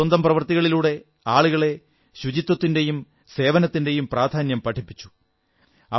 അവർ സ്വന്തം പ്രവൃത്തികളിലൂടെ ആളുകളെ ശുചിത്വത്തിന്റെയും സേവനത്തിന്റെയും പ്രാധാന്യം പഠിപ്പിച്ചു